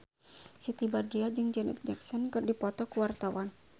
Siti Badriah jeung Janet Jackson keur dipoto ku wartawan